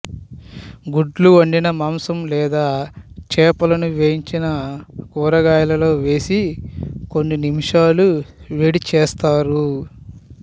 గుడ్లు వండిన మాంసం లేదా చేపలను వేయించిన కూరగాయలలో వేసి కొన్ని నిమిషాలు వేడి చేస్తారు